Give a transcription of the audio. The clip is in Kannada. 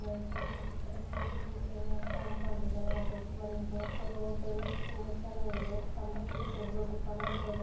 ಮನೆ ಐತೆ ಮತ್ತೆ ಈ ಕಡೆ ಸೈಡ್ ಜೊತೆಗೆ ಕಾಂಪೌಂಡ್ ಐತೆ ಮನೆ ದೊಡ್ಡ ಮನೆ ಇದೆ ರೋಡ್ ಎಲ್ಲ ತುಂಬಾ ಚೆನ್ನಾಗಿದೆ ಕಂಬ ಸೂತ ದೊಡ್ಡ ಕಂಬ --